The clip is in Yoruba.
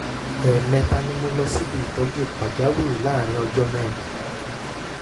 ẹ̀ẹ̀mẹta ni mo lọ síbi ìtọ́jú pàjáwìrì láàárín ọjọ́ mẹ́rin